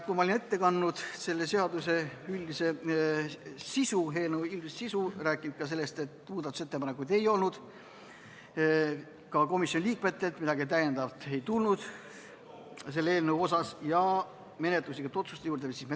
Kui ma olin ette kandnud selle seaduseelnõu üldise sisu ja rääkinud sellest, et muudatusettepanekuid ei olnud, ka mitte komisjoni liikmetelt, siis läksime menetluslike otsuste juurde.